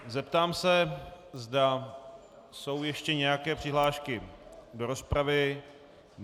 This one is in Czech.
Zeptám se, zda jsou ještě nějaké přihlášky do rozpravy.